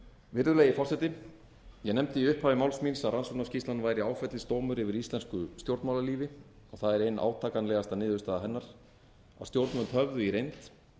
virðulegi forseti ég nefndi í upphafi máls míns að rannsóknarskýrslan væri áfellisdómur yfir íslensku stjórnmálalífi og það er ein átakanlegasta niðurstaða hennar að stjórnvöld höfðu í reynd